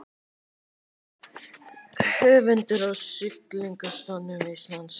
Myndir: Höfundur og Siglingastofnun Íslands